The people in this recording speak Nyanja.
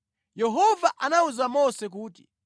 Yehova anawuza Mose kuti,